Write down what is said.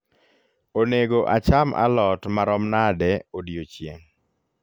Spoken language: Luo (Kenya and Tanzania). onego acham a lot marom nade odiechieng